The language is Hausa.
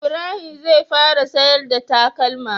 Ibrahim zai fara siyar da takalma